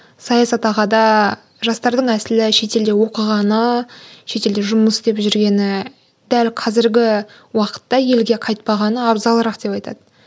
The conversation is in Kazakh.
саясат аға да жастардың әсілі шетелде оқығаны шетелде жұмыс істеп жүргені дәл қазіргі уақытта елге қайтпағаны абзалырақ деп айтады